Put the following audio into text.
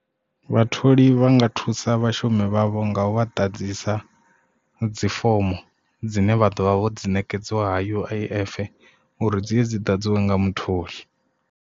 Vhatholi vha nga thusa vhashumi vhavho nga u vha ḓadzisa dzifomo dzine vha ḓovha vho dzi ṋekedziwa ha U_I_F uri dziye dzi ḓadziwe nga mutholi.